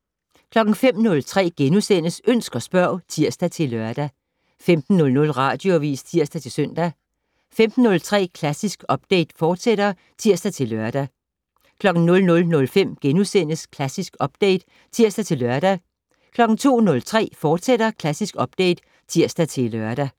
05:03: Ønsk og spørg *(tir-lør) 15:00: Radioavis (tir-søn) 15:03: Klassisk Update, fortsat (tir-lør) 00:05: Klassisk Update *(tir-lør) 02:03: Klassisk Update, fortsat (tir-lør)